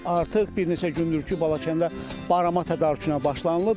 Artıq bir neçə gündür ki, Balakəndə barama tədarükünə başlanılıb.